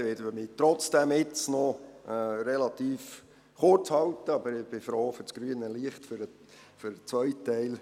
Ich werde mich jetzt trotzdem noch relativ kurzfassen, aber ich bin froh um das grüne Licht für den zweiten Teil.